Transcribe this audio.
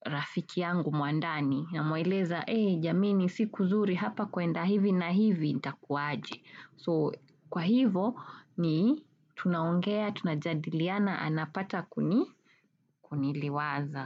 rafiki yangu mwandani na mueleza, ee jameni si kuzuri hapa kwaenda hivi na hivi itakuaje. So kwa hivo ni tunaongea, tuna jadilia na anapata kuniliwaza.